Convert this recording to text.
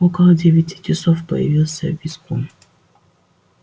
около девяти часов появился визгун